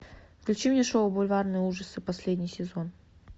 включи мне шоу бульварные ужасы последний сезон